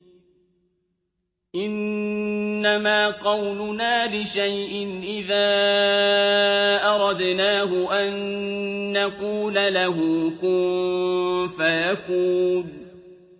إِنَّمَا قَوْلُنَا لِشَيْءٍ إِذَا أَرَدْنَاهُ أَن نَّقُولَ لَهُ كُن فَيَكُونُ